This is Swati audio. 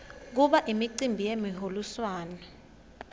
kuba imicimbi yemiholiswano